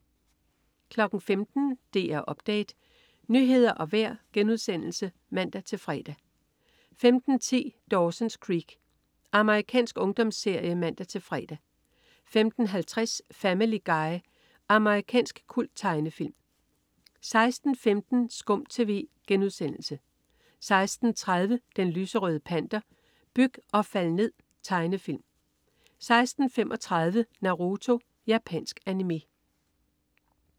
15.00 DR Update. Nyheder og vejr* (man-fre) 15.10 Dawson's Creek. Amerikansk ungdomsserie (man-fre) 15.50 Family Guy. Amerikansk kulttegnefilm 16.15 SKUM TV* 16.30 Den lyserøde Panter. Byg og fald ned! Tegnefilm 16.35 Naruto. Japansk animé